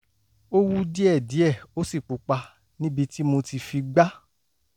ó wú díẹ̀díẹ̀ ó sì pupa níbi tí mo ti fi gbá